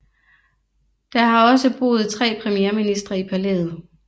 Der har også boet tre premierministre i palæet